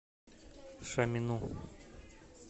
шамину